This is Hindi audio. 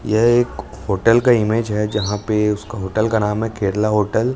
यह एक होटल का इमेज है जहां पे उसका होटल का नाम है केरला होटल ।